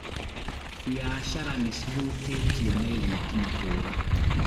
Biacara nĩcihũtĩtio nĩ thitima kũra